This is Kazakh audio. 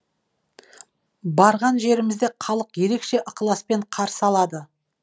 барған жерімізде халық ерекше ықыласпен қарсы алады